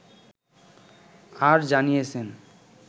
আর জানিয়েছেন